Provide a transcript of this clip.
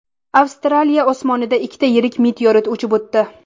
Avstraliya osmonidan ikkita yirik meteorit uchib o‘tdi .